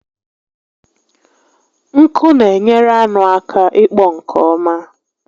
Nku n'enyere anụ aka ịkpọ nke ọma